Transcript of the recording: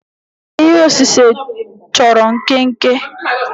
ihe osise chọrọ nkenke